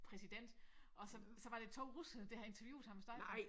Præsident og så såd var det 2 russere der havde interviewet ham og snakket med ham